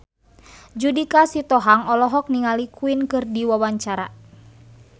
Judika Sitohang olohok ningali Queen keur diwawancara